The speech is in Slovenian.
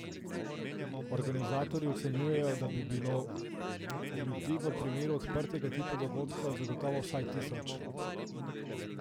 Organizatorji ocenjujejo, da bi bilo ljudi v primeru odprtega tipa dogodka zagotovo vsaj tisoč.